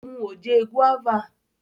ó mu oje guava.